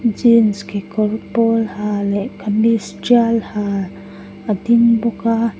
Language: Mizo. jeans kekawr pawl ha leh kamis tial ha a ding bawk a.